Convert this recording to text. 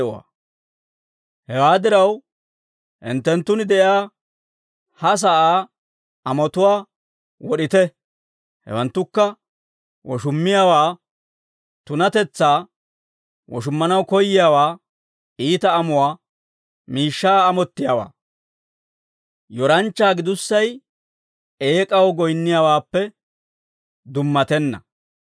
Hewaa diraw, hinttenttun de'iyaa ha sa'aa amotuwaa wod'ite; hewanttukka woshummiyaawaa, tunatetsaa, woshummanaw koyiyaawaa, iita amuwaa, miishshaa amottiyaawaa. Yoranchchaa gidussay eek'aw goyinniyaawaappe dummatenna.